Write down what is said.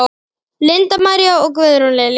Linda María og Guðrún Lilja.